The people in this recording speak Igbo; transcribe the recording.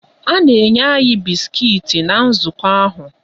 A na-enye anyị bisikiiti na nzukọ ahụ.